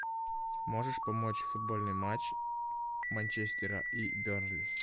можешь помочь футбольный матч манчестера и бернли